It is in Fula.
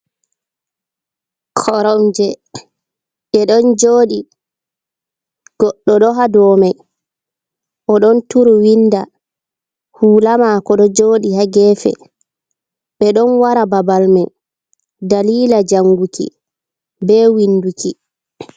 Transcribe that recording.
Koromje be don jodi goɗdo do ha do mai o don turu winda hulama ko do jodi hagefe, be don wara babal mai dalila janguki, be winduki.